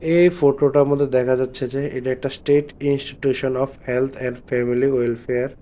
এই ফটোটার মধ্যে দেখা যাচ্ছে যে এটা একটা state institution of health and family welfare.